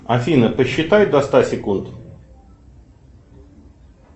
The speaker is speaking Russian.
афина посчитай до ста секунд